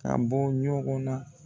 Kan b'ɔ ɲɔgɔn na.